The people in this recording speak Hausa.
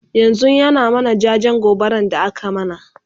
yanzun ya na mana jajen gobaran da aka mana